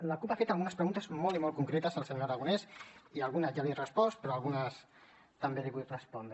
la cup ha fet algunes preguntes molt i molt concretes el senyor aragonès i algunes ja li he respost però algunes també li vull respondre